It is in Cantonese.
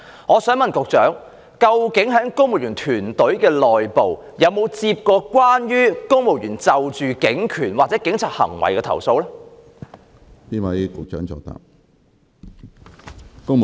我想問局長，在公務員團隊之內，曾否接獲公務員就警權或警察行為而提出的投訴？